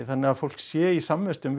þannig að fólk sé í samvistum